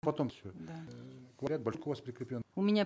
потом все да э говорят божко у вас прикреплен у меня